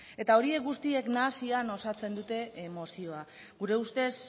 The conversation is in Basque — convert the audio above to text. eta horiek guztiek nahasian osatzen dute mozioa gure ustez